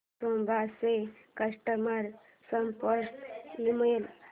Toshiba चा customer support email